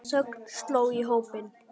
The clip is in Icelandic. Þögn sló á hópinn.